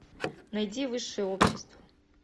найди высшее общество